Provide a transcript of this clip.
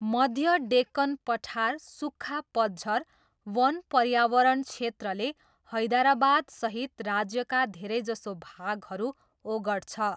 मध्य डेक्कन पठार सुख्खा पतझर वन पर्यावरण क्षेत्रले हैदराबादसहित राज्यका धेरैजसो भागहरू ओगट्छ।